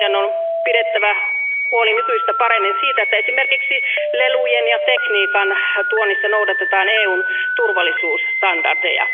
Meidän on pidettävä huoli nykyistä paremmin siitä, että esimerkiksi lelujen ja tekniikan tuonnissa noudatetaan EUn turvallisuusstandardeja.